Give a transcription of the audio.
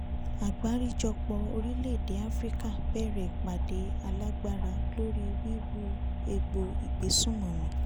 àgbáríjọpọ̀ orílẹ̀-èdè afirika bẹ̀rẹ̀ ìpàdé alágbára lórí wíwú ègbò ìgbésùnmọ̀mí